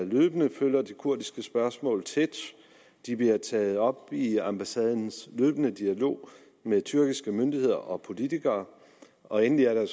løbende følger det kurdiske spørgsmål tæt det bliver taget op i ambassadens løbende dialog med tyrkiske myndigheder og politikere og endelig er der